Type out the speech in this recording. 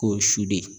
K'o su de